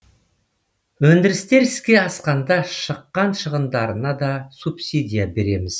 өндірістер іске асқанда шыққан шығындарына да субсидия береміз